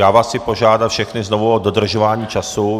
Já vás chci požádat všechny znovu o dodržování času.